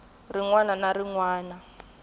rin wana na rin wana